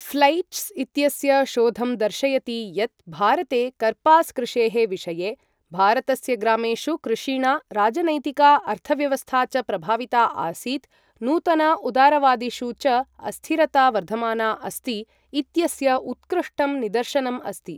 फ्लैच्स् इत्यस्य शोधं दर्शयति यत् भारते कर्पास कृषेः विषये, "भारतस्य ग्रामेषु कृषिणा, राजनैतिका, अर्थव्यवस्था च प्रभाविता आसीत्, नूतन उदारवादिषु च अस्थिरता वर्धमाना अस्ति" इत्यस्य उत्कृष्टं निदर्शनम् अस्ति।